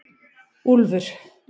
Úlfur